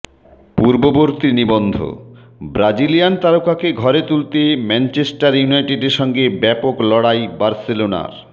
পূর্ববর্তী নিবন্ধব্রাজিলিয়ান তারকাকে ঘরে তুলতে ম্যানচেষ্টার ইউনাইটেডের সঙ্গে ব্যাপক লড়াই বার্সেলোনার